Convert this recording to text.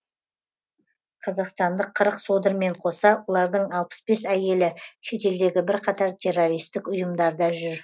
қазақстандық қырық содырмен қоса олардың алпыс бес әйелі шетелдегі бірқатар террористік ұйымдарда жүр